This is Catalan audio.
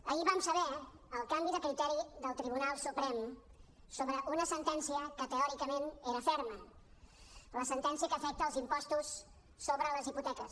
ahir vam saber el canvi de criteri del tribunal suprem sobre una sentència que teòricament era ferma la sentència que afecta els impostos sobre les hipoteques